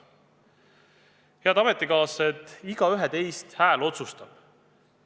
Head ametikaaslased, teist igaühe hääl otsustab!